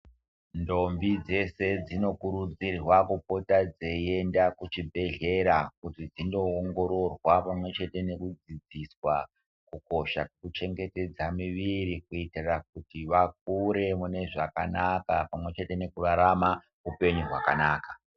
Ntombi dzese dzinokurudzirwa kupota dzeiyenda kuchibhedhlera kuti dzindo ongororwa pamwechete neku dzidziswa kukosha kwekuchengetedza miviri kuitira kuti vakure mune zvakanaka pamwechete nekurarama hupenyu hwakanaka.